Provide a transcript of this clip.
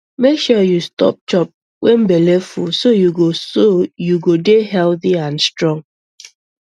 make sure you stop chop when belle full so you go so you go dey healthy and strong